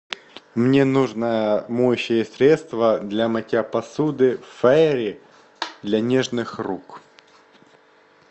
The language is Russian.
мне нужно моющее средство для мытья посуды фейри для нежных рук